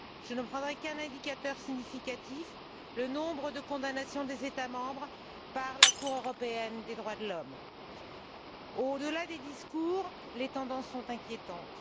Je ne prendrai qu'un indicateur significatif le nombre de condamnations des États membres par la Cour européenne des droits de l'homme. Au delà des discours, les tendances sont inquiétantes.